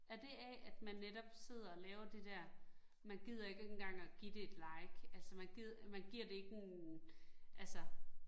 Er det af, at man netop sidder og laver det dér, man gider ikke engang at give det et like, altså man man giver det ikke en altså